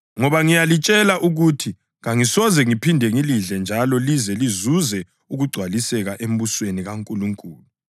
Ngoba ngiyalitshela ukuthi kangisoze ngiphinde ngilidle njalo lize lizuze ukugcwaliseka embusweni kaNkulunkulu.”